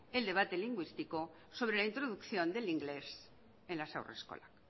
el debate lingüístico sobre la introducción del inglés en las haurreskolak